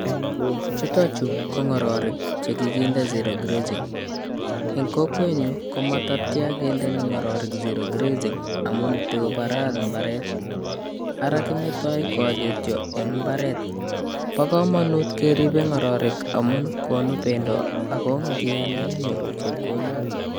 Chutok chu ko ngororek chekikinde zero grazing eng kokwenyuu ko matcha kendeni ngororek zero grazing amun tikobaraa mbarenik Ara kimetoi koagetyo eng imbaret bo komonut keribei ngororek amun konu bendo Ako ngialde inyoruu chepkondok